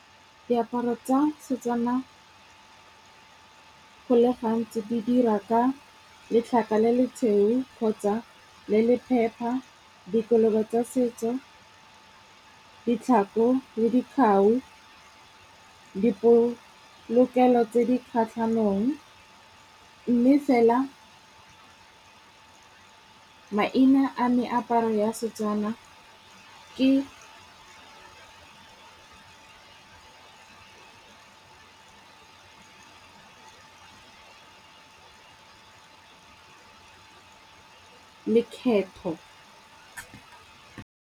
Diaparo tsa setswana. Go le gantsi di dirwa ka letlhaka le le tshweu kgotsa le le phepa, dikobo tsa setso, ditlhako le dikgao, dipolokelo tse di kgatlhanong. Mme fela maina a meaparo a setswana ke lekgetho.